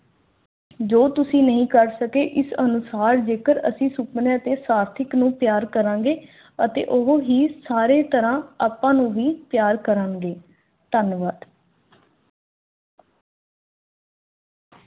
ਜੋ ਤੁਸੀਂ ਨਹੀਂ ਕਰ ਸਕੇ ਇਸ ਅਨੁਸਾਰ ਜੇਕਰ ਅਸੀਂ ਸੁਪਨਿਆਂ ਤੇ ਸਾਥੀਆਂ ਨੂੰ ਤਿਆਰ ਕਰਾਂਗੇ ਅਤੇ ਉਹ ਹੀ ਉਸ ਧਨਵੰਤ